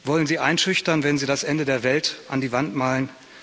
Wollen Sie einschüchtern, wenn Sie das Ende der Welt an die Wand malen?